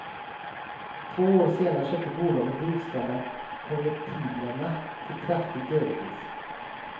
Två år senare köpte bolaget de utställda konvertiblerna till kraftigt överpris.